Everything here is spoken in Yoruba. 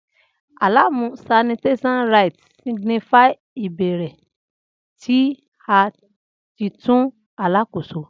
Alamu'sinitiation rites signifies ibẹrẹ ti a titun alakoso.